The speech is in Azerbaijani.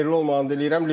Xeyirli olmağını diləyirəm.